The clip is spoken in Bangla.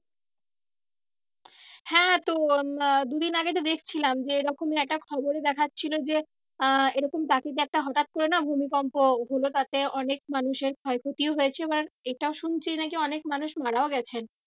হ্যাঁ তো দু দিন আগে তো দেখছিলাম যে রকম একটা খবরে দেখছিলো যে আহ এরকম টাকিতে একটা হঠাৎ করে না ভূমিকম্প হলো তাতে অনেক মানুষের ক্ষয় ক্ষতিও হয়েছে। এবার এটা শুনছি নাকি অনেক মানুষ মারাও গেছেন।